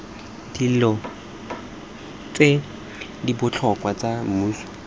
dilo ste dibotlhokwa sta mmuso